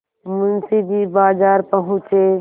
मुंशी जी बाजार पहुँचे